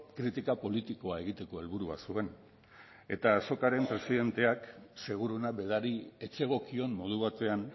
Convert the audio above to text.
kritika politikoa egiteko helburua zuen eta azokaren presidenteak seguruena berari ez zegokion modu batean